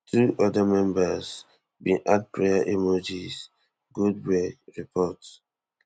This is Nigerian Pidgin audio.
two oda members bin add prayer emojis goldberg report